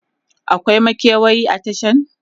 akwai makewayi a Tashan?